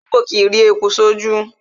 Ológbò kìí rí eku sí ojú